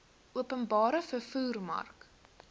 openbare vervoer mark